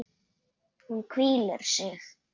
Hún hvílir sig.